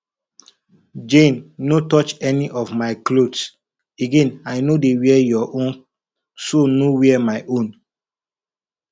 jane no touch any of my clothes again i no dey wear your own so no wear my own